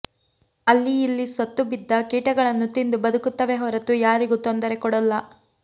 ಅಲ್ಲಿ ಇಲ್ಲಿ ಸತ್ತು ಬಿದ್ದ ಕೀಟಗಳನ್ನು ತಿಂದು ಬದುಕುತ್ತವೆ ಹೊರತು ಯಾರಿಗೂ ತೊಂದರೆ ಕೊಡೋಲ್ಲ